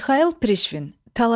Mixail Prişvin.